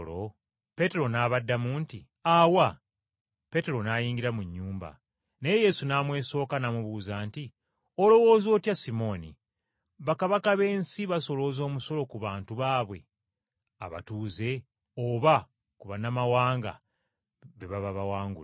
Peetero n’abaddamu nti, “Awa!” Peetero n’ayingira mu nnyumba. Naye Yesu n’amwesooka n’amubuuza nti, “Olowooza otya Simooni, bakabaka b’ensi basolooza omusolo ku bantu baabwe abatuuze oba ku bannamawanga be baba bawangudde?”